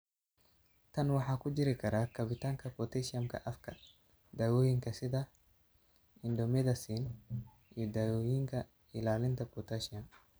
Tan waxa ku jiri kara kabitaanka potassium-ka afka ah (K), dawooyinka sida indomethacin, iyo dawooyinka ilaalinta potassium.